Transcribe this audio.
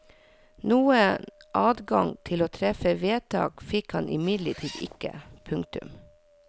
Noen adgang til å treffe vedtak fikk han imidlertid ikke. punktum